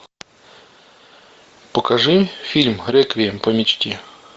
покажи фильм реквием по мечте